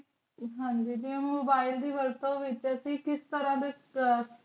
ਹਾਂਜੀ ਦੀ ਊ mobile ਤੇ ਅਸੀਂ ਕਿਸ ਤਰਹ